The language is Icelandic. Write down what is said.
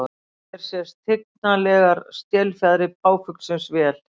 Hér sjást tignarlegar stélfjaðrir páfuglsins vel.